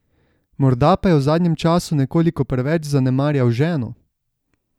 Morda pa je v zadnjem času nekoliko preveč zanemarjal ženo?